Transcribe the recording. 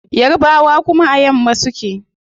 Yarbawa kuma a yamma suke